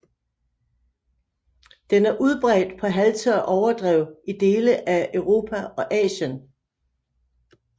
Den er udbredt på halvtørre overdrev i dele af Europa og Asien